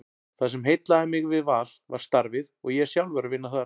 Það sem heillaði mig við Val var starfið og ég er sjálfur að vinna þar.